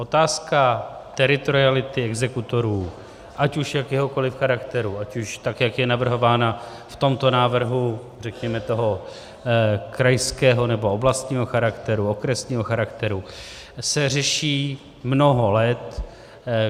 Otázka teritoriality exekutorů, ať už jakéhokoliv charakteru, ať už tak, jak je navrhována v tomto návrhu, řekněme, toho krajského nebo oblastního charakteru, okresního charakteru, se řeší mnoho let.